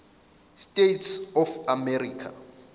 states of america